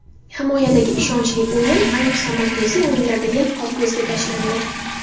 Himoyadagi ishonchli o‘yin ayniqsa markaziy o‘yinlarda yaqqol ko‘zga tashlandi.